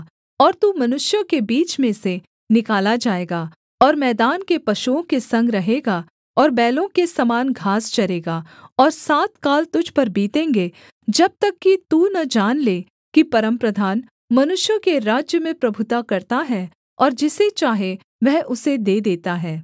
और तू मनुष्यों के बीच में से निकाला जाएगा और मैदान के पशुओं के संग रहेगा और बैलों के समान घास चरेगा और सात काल तुझ पर बीतेंगे जब तक कि तू न जान ले कि परमप्रधान मनुष्यों के राज्य में प्रभुता करता है और जिसे चाहे वह उसे दे देता है